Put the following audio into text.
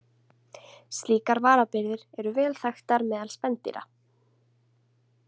Slíkar varabirgðir eru vel þekktar meðal spendýra.